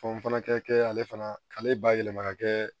Fɛn fana kɛ kɛ ale fana k'ale bayɛlɛma ka kɛ